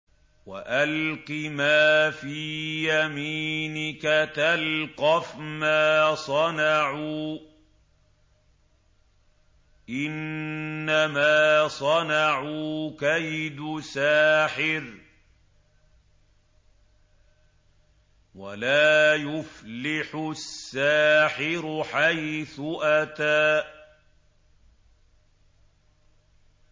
وَأَلْقِ مَا فِي يَمِينِكَ تَلْقَفْ مَا صَنَعُوا ۖ إِنَّمَا صَنَعُوا كَيْدُ سَاحِرٍ ۖ وَلَا يُفْلِحُ السَّاحِرُ حَيْثُ أَتَىٰ